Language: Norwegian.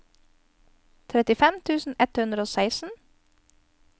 trettifem tusen ett hundre og seksten